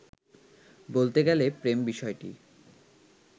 বলতে গেলে প্রেম বিষয়টি